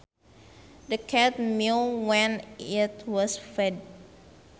The cat meowed when it was fed